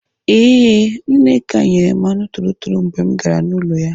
Ee, Nneka nyere m anụ torotoro mgbe m gara n'ụlọ ya.